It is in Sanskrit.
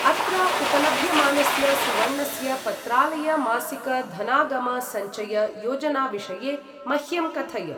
अत्र उपलभ्यमानस्य सुवर्णस्य पत्रालय मासिक धनागम सञ्चय योजनाविषये मह्यं कथय।